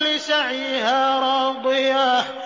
لِّسَعْيِهَا رَاضِيَةٌ